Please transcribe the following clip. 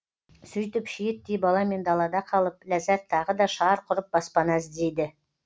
сөйтіп шиеттей баламен далада қалып ләззәт тағы да шарқ ұрып баспана іздейді